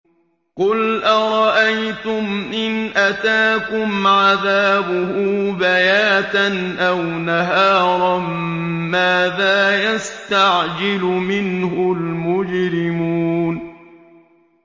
قُلْ أَرَأَيْتُمْ إِنْ أَتَاكُمْ عَذَابُهُ بَيَاتًا أَوْ نَهَارًا مَّاذَا يَسْتَعْجِلُ مِنْهُ الْمُجْرِمُونَ